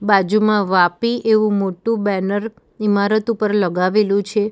બાજુમાં વાપી એવુ મોટુ બેનર ઇમારત ઉપર લગાવેલુ છે.